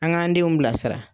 An k'an denw bilasira